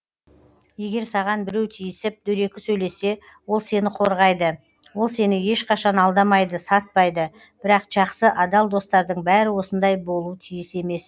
егер саған біреу тиісіп дөрекі сөйлесе ол сені қорғайды ол сені ешқашан алдамайды сатпайды бірақ жақсы адал достардың бәрі осындай болу тиіс емес